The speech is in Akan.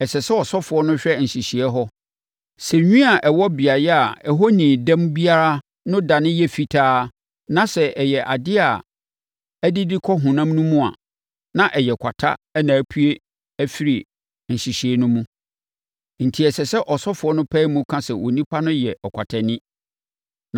ɛsɛ sɛ ɔsɔfoɔ no hwɛ nhyehyeeɛ hɔ. Sɛ nwi a ɛwɔ beaeɛ a ɛhɔ nnii dɛm biara no dane yɛ fitaa na sɛ ɛyɛ adeɛ a adidi kɔ honam no mu a, na ɛyɛ kwata na apue afiri nhyehyeeɛ no mu, enti ɛsɛ sɛ ɔsɔfoɔ no pae mu ka sɛ onipa no yɛ ɔkwatani.